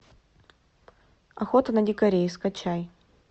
охота на дикарей скачай